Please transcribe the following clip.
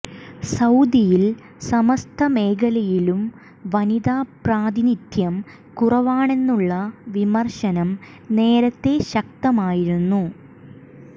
സൌദിയിൽ സമസ്ത മേഖലയിലും വനിതാ പ്രാതിനിധ്യം കുറവാണെന്നുള്ള വിമർശനം നേരത്തെ ശക്തമായിരുന്നു